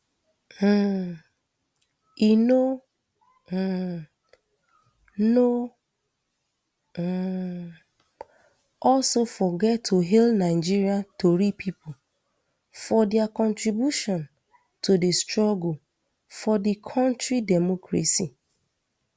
um e no um no um also forget to hail nigeria tori pipo for dia contribution to di struggle for di kontri demcocracy